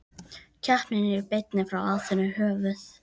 Keppnin er í beinni frá Aþenu, höfuð